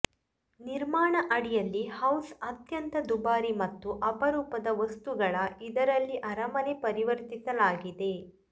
ನಿರ್ಮಾಣ ಅಡಿಯಲ್ಲಿ ಹೌಸ್ ಅತ್ಯಂತ ದುಬಾರಿ ಮತ್ತು ಅಪರೂಪದ ವಸ್ತುಗಳ ಇದರಲ್ಲಿ ಅರಮನೆ ಪರಿವರ್ತಿಸಲಾಗಿದೆ